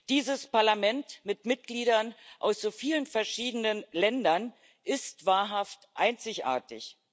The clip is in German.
Dieses Parlament mit Mitgliedern aus so vielen verschiedenen Ländern ist wahrhaft einzigartig.